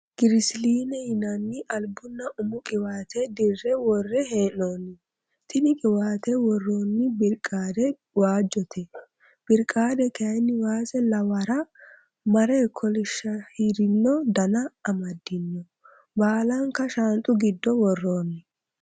Girisiliine yinanni albunna umu qiwaate dirre worre hee'noonni. tini qiwaate worroonni birqaade waajjote. Birqaade kayinni was lawara mare kolishahirino Dana amaddino. Baalanka shaanxu giddo worroonni.